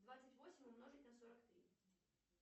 двадцать восемь умножить на сорок три